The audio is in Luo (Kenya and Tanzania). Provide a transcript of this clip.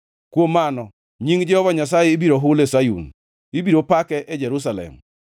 Kuom mano nying Jehova Nyasaye ibiro hul e Sayun, ibiro pake e Jerusalem,